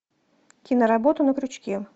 киноработа на крючке